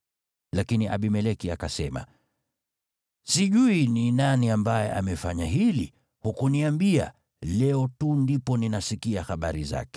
Lakini Abimeleki akasema, “Sijui ni nani ambaye amefanya hili. Hukuniambia, leo tu ndipo ninasikia habari zake.”